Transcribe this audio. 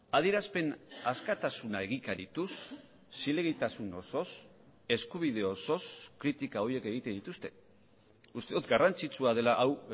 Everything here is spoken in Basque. adierazpen askatasuna egikarituz zilegitasun osoz eskubide osoz kritika horiek egiten dituzte uste dut garrantzitsua dela hau